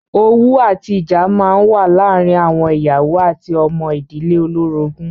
Owú àti ìjà máa ń wà láàárín àwọn ìyàwó àti ọmọ ìdílé olórogún.